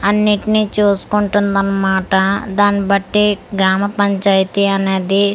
అన్నిటినీ చూసుకుంటుంది అన్నమాట దాని బట్టి గ్రామ పంచాయతీ అనేది .]